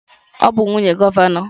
Ọ bụ nwunye gọvanọ.